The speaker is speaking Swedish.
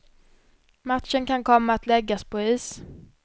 Matchen kan komma att läggas på is.